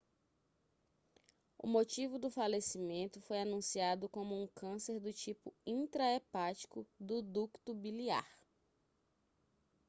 o motivo do falecimento foi anunciado como um câncer do tipo intra-hepático do ducto biliar